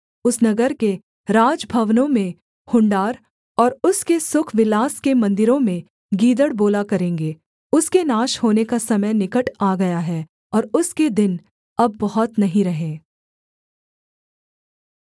उस नगर के राजभवनों में हुँडार और उसके सुखविलास के मन्दिरों में गीदड़ बोला करेंगे उसके नाश होने का समय निकट आ गया है और उसके दिन अब बहुत नहीं रहे